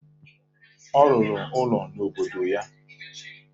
Ọ rụrụ ụlọ n'obodo ya